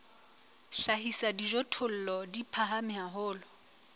hlahisa dijothollo di phahame haholo